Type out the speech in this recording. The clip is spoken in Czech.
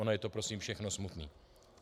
Ono je to prosím všechno smutné.